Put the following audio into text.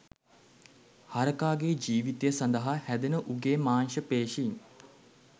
හරකාගේ ජීවිතය සඳහා හැදෙන උගේ මාංශ පේශීන්